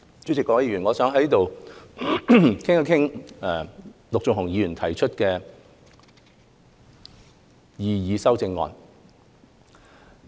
主席，各位議員，我想在此談一談陸頌雄議員提出的修正案。